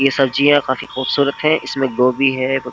ये सब्जियां काफी खूबसूरत हैं इसमें गोबी है --